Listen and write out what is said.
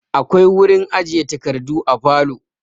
Akwai wurin ajiye takardu a falo.